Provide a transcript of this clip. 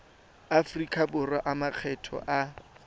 aforika borwa a makgetho a